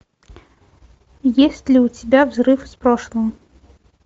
есть ли у тебя взрыв из прошлого